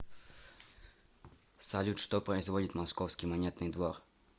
салют что производит московский монетный двор